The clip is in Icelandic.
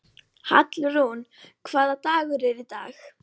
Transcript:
Hallrún, hvaða dagur er í dag?